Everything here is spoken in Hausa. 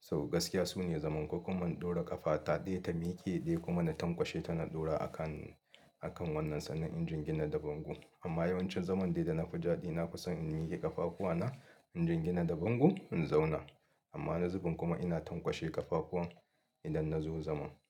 Sau gaskiya sune zaman ko kuman in ɗaura ƙafa ta ɗaya ta miƙe ɗaya kuma na tankwashe tana ɗora a kan, a kan wannan sannan injin gina da bango. Amma yawancin zaman dai da na fi daɗi, na fi son in miƙe ƙafafuwana, injin gina da bango in zauna. Amma wani zubin kuma ina tanƙwashe ƙafafuwan idan na zo zaman.